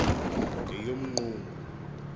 ngeyomqungu